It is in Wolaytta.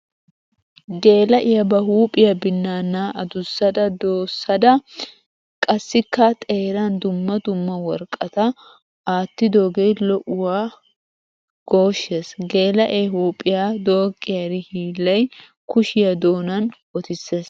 Geela'iya ba huuphiya binanna adussada doossadda qassikka xeeran dumma dumma worqqatta aattidoge lo'uwan gooshes! Geela'e huuphiya dooqiyari hiillay kushiya doonan wottisees!